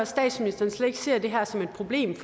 statsministeren slet ikke ser det her som et problem